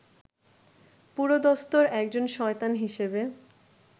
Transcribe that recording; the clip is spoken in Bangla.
পুরোদস্তুর একজন শয়তান হিসেবে